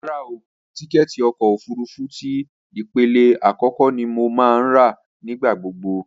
Rárá o, tíkẹ́ẹ̀tì ọkọ̀ òfurufú ti ìpele àkọ́kọ́ ni mo máa ń rà nígbà gbogbo